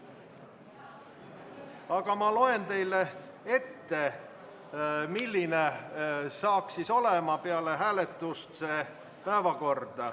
Aga ma loen teile ette, milline oleks päevakord peale hääletust.